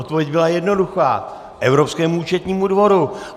Odpověď byla jednoduchá: Evropskému účetnímu dvoru.